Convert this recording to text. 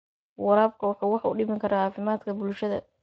Waraabku waxa uu wax u dhimi karaa caafimaadka bulshada.